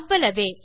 அவ்வளவே